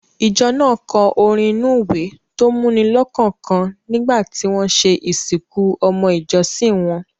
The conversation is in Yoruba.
Ìjọ náà kọ orin inú-ìwé tó múni lọ́kàn kan nígbà tí wọ́n ṣe ìsìnkú ọmọ ìjọsìn wọn.